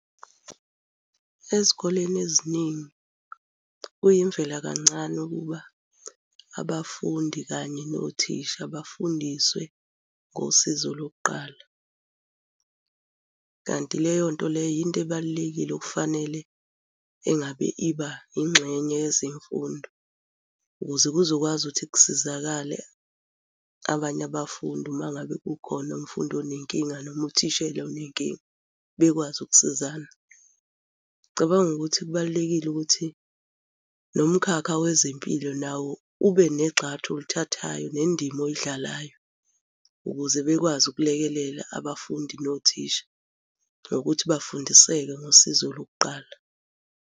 Ezikoleni eziningi kuyimvela kancane ukuba abafundi kanye nothisha bafundiswe ngosizo lokuqala, kanti leyo nto leyo yinto ebalulekile okufanele engabe iba yingxenye yezemfundo ukuze kuzokwazi ukuthi kusizakale abanye abafundi uma ngabe kukhona umfundi onenkinga noma uthishela onenkinga bekwazi ukusizana. Ngicabanga ukuthi kubalulekile ukuthi nomkhakha wezempilo nawo ube negxathu olithathayo nendima oyidlalayo ukuze bekwazi ukulekelela abafundi nothisha ngokuthi bafundiseke ngosizo lokuqala.